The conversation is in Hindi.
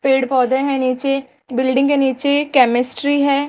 पेड़ पौधे हैं नीचे बिल्डिंग है नीचे केमेस्ट्री है।